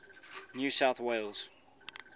new south wales